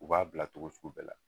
U b'a bila cogo sugu bɛɛ la.